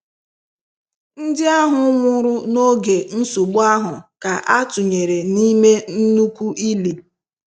Ndi ahu nwuru na oge nsogbu ahu ka a tunyere nime nnukwu ili.